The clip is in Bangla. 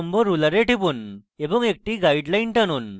উল্লম্ব ruler টিপুন এবং একটি guideline টানুন